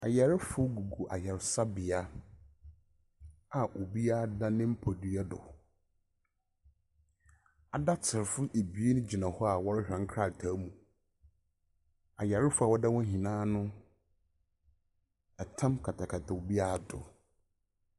Ayarfo gugu ayarsabea a obiara da ne mpadua do, adatserfo ebien gyina hɔ a wɔrohwɛ nkrataa mu, ayarfo wɔda hɔ nyina no, tam katakata obiara do.